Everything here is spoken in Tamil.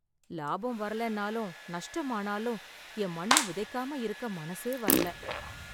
லாபம் வரலன்னாலும் நஷ்டம் ஆனாலும், என் மண்ண விதைக்காம இருக்க மனசே வரல.